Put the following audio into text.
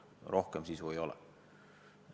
Rohkem sisu ei ole.